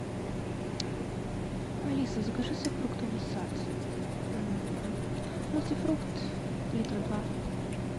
алиса закажи сок фруктовый сад мультифрукт литра два